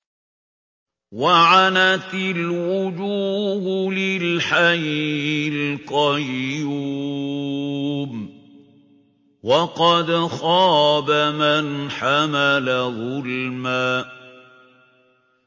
۞ وَعَنَتِ الْوُجُوهُ لِلْحَيِّ الْقَيُّومِ ۖ وَقَدْ خَابَ مَنْ حَمَلَ ظُلْمًا